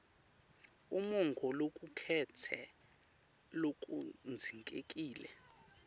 umongo locuketse lokudzingekile